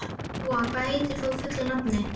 Veðrið var eins og það gerist allra best.